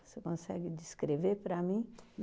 Você consegue descrever para mim?